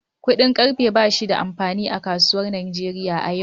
Kudin karfe ba shi da amfani a kasuwar Najeriya a yau.